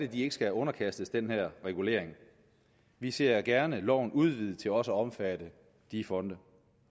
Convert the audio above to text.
de ikke skal underkastes den her regulering vi ser gerne loven udvidet til også at omfatte de fonde